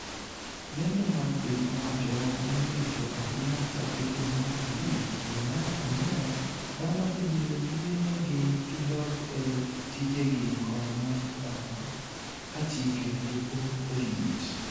lendo mag piny owacho manirito ahinya chakre dwe mar abich dwe mar ang'wen, dhano ibiro yie negi gidog e tijegi kod mag oganda kachike to pod orit